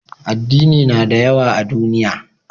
Addini na da yawa a duniya